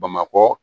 Bamakɔ